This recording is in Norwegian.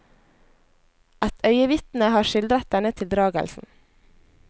Et øyenvitne har skildret denne tildragelsen.